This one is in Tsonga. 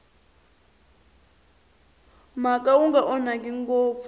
mhaka wu nga onhaki ngopfu